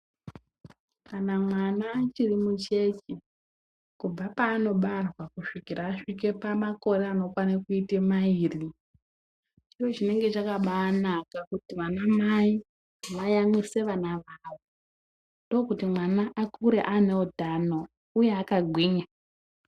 Kana mwana achiri mucheche kubva paanobarwa kusvike pamakore anokwane mairi, chiro chinenge chakabaanaka kuti anamai vayamwise vana vavo. Ndokuti mwana akure ane utano uye akagwinya.